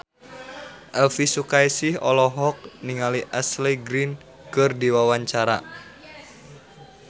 Elvy Sukaesih olohok ningali Ashley Greene keur diwawancara